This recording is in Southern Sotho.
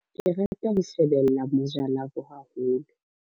Ke rata ho shebella Moja Love haholo.